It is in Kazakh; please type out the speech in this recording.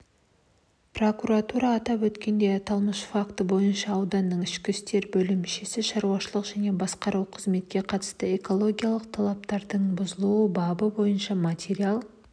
прокуратурада атап өткендей аталмыш факті бойынша ауданның ішкі істер бөлімі шаруашылық және басқа қызметке қатысты экологиялық талаптардың бұзылуы бабы бойынша материал